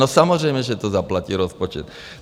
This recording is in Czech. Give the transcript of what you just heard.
No samozřejmě že to zaplatí rozpočet.